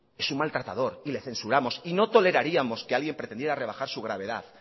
es un maltratador y le censuramos y no toleraríamos que alguien pretendiera rebajar su gravedad